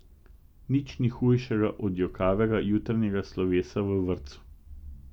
Nič ni hujšega od jokavega jutranjega slovesa v vrtcu!